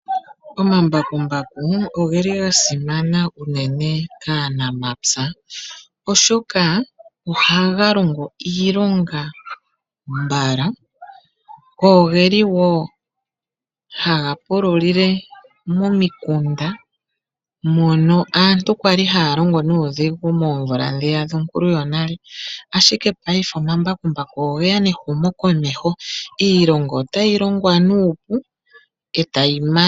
Omambakumbaku ogeli ga simana kaanamapya, oshoka ohaga longo iilonga mbala go geli wo haga pululile momikunda mono aantu kwali haya longo nuudhigu moomvula ndhiya dhonale, ashike paife omambakumbaku ogeya nehumo komeho, iilonga otayi longwa nuupu etayi manwa.